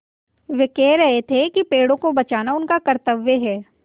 वे कह रहे थे कि पेड़ों को बचाना उनका कर्त्तव्य है